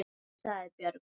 sagði Björg.